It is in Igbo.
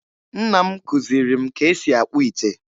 Nna m kụziri m ka e si akpụ ite